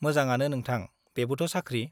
मोंजांआनो नोंथां , बेबोथ' साख्रि ।